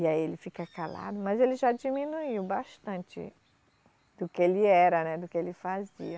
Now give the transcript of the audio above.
E aí ele fica calado, mas ele já diminuiu bastante do que ele era, né, do que ele fazia.